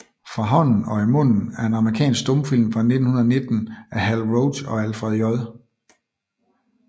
Fra Hånden og i Munden er en amerikansk stumfilm fra 1919 af Hal Roach og Alfred J